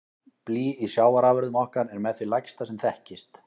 Blý í sjávarafurðum okkar er með því lægsta sem þekkist.